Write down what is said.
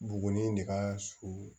Buguni de ka surun